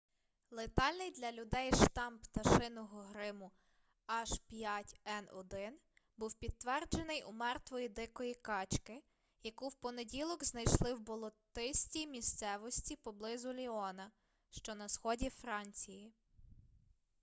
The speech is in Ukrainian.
летальний для людей штам пташиного грипу h5n1 був підтверджений у мертвої дикої качки яку в понеділок знайшли в болотистій місцевості поблизу ліона що на сході франції